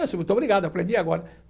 Muito obrigado, aprendi agora.